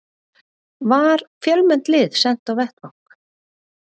Var fjölmennt lið sent á vettvang